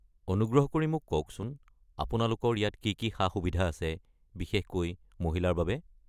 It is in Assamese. অনুগ্ৰহ কৰি মোক কওকচোন আপোনালোকৰ ইয়াত কি কি সা-সুবিধা আছে, বিশেষকৈ মহিলাৰ বাবে।